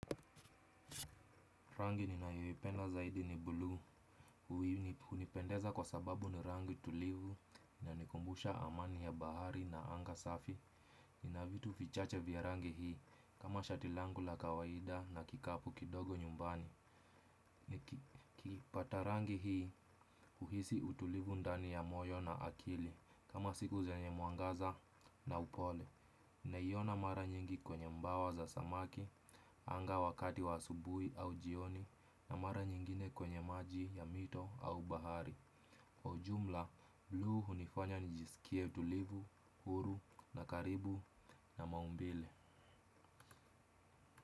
Rangi ni nayo ipenda zaidi ni bluu, hunipendeza kwa sababu ni rangi tulivu ina nikumbusha amani ya bahari na anga safi. Nina vitu vichache vya rangi hii kama shati langu la kawaida na kikapu kidogo nyumbani. Ni kipata rangi hii huhisi utulivu ndani ya moyo na akili kama siku zenyemwangaza na upole. Na iyo na mara nyingi kwenye mbawa za samaki, anga wakati wa asubuhi au jioni na mara nyingine kwenye maji ya mito au bahari kwa ujumla, blue hunifanya nijisikie utulivu, huru na karibu na maumbile.